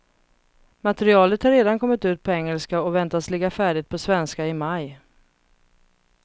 Materialet har redan kommit ut på engelska och väntas ligga färdigt på svenska i maj.